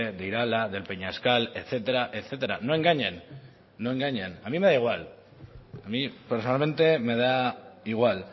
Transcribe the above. de irala de peñascal etcétera no engañen a mí me da igual a mí personalmente me da igual